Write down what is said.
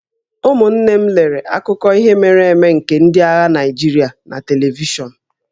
Ụmụnne m lere akụkọ ihe mere eme nke ndị agha Naịjirịa na televishọn